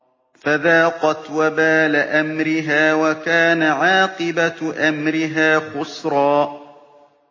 فَذَاقَتْ وَبَالَ أَمْرِهَا وَكَانَ عَاقِبَةُ أَمْرِهَا خُسْرًا